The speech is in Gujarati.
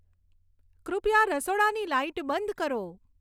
કૃપયા રસોડાની લાઈટ બંધ કરો